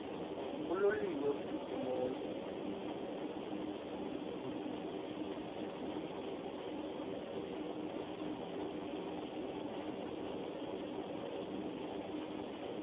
uloliwe ukusuk emontini